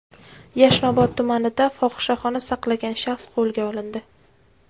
Yashnobod tumanida fohishaxona saqlagan shaxs qo‘lga olindi.